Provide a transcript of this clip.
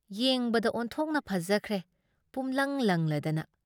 ꯌꯦꯡꯕꯗ ꯑꯣꯟꯊꯣꯛꯅ ꯐꯖꯈ꯭ꯔꯦ ꯄꯨꯝꯂꯪ ꯂꯪꯂꯗꯅ ꯫